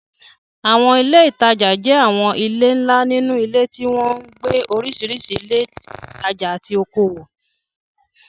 Àwọn ilé ìtajà jẹ́ àwọn ilé ńlá nínú ilé tí wọ́n ń gbé oríṣiríṣi ilé ìtajà àti okòwò.